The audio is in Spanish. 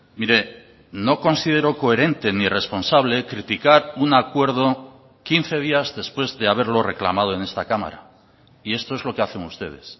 mire no considero coherente ni responsable criticar un acuerdo quince días después de haberlo reclamado en esta cámara y esto es lo que hacen ustedes